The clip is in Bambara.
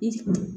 I